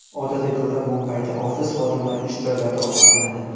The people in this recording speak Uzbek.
Odatga ko‘ra, Mumbayda ofis xodimlari ish joylarida ovqatlanadi.